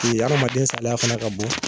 Ee adamaden saliya fana ka bon